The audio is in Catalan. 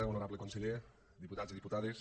honorable conseller diputats i diputades